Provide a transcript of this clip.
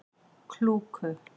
Klúku